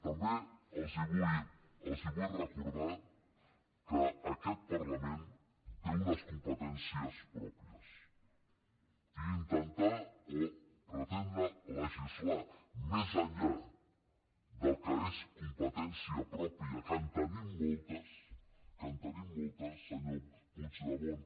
també els vull recordar que aquest parlament té unes competències pròpies i intentar o pretendre legislar més enllà del que és competència pròpia que en tenim moltes senyor puigdemont